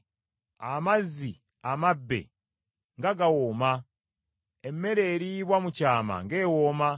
“Amazzi amabbe nga gawooma! emmere eriibwa mu kyama ng’ewooma!”